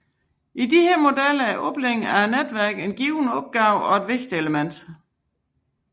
I disse modeller er oplæring af netværket til en given opgave et vigtigt element